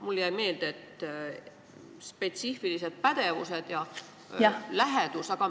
Mulle jäi meelde, et spetsiifilised pädevused ja lähedus.